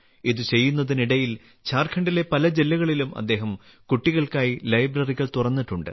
ഇത് ചെയ്യുന്നതിനിടയിൽ ഝാർഖണ്ഡിലെ പല ജില്ലകളിലും അദ്ദേഹം കുട്ടികൾക്കായി ലൈബ്രറികൾ തുറന്നിട്ടുണ്ട്